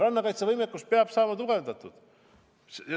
Rannakaitsevõimekus peab saama tugevdatud.